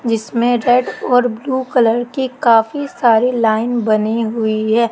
जिसमें रेड और blue colour की काफी सारी लाइन बनी हुई है।